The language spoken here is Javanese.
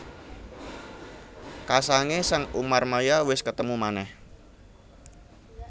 Kasangé sang Umarmaya wis ketemu manèh